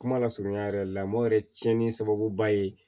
Kuma lasurunya yɛrɛ la mɔmɔ yɛrɛ tiɲɛni sababuba ye